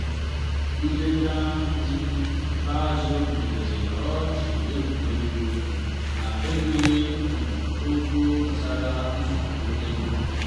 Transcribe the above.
nleta um n'ikpeazụ butere ọchị egwuregwu um na enweghị um okwu gbasara nsogbu ego.